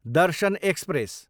Darshan express